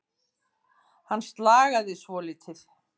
Hann slagaði svolítið.